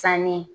Sanni